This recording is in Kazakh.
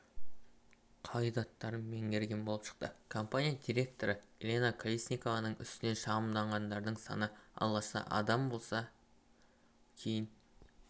қағидаттарын меңгерген болып шықты компания директоры елена колесникованың үстінен шағымданғандардың саны алғашқыда адам болса кейін